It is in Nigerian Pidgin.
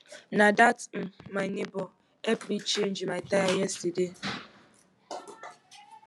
na dat um my nebor help me change my tire yesterday